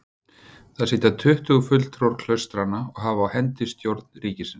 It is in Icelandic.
Þar sitja tuttugu fulltrúar klaustranna og hafa á hendi stjórn ríkisins.